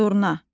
Durna.